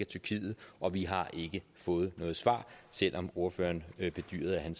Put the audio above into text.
tyrkiet og vi har ikke fået noget svar selv om ordføreren bedyrede at han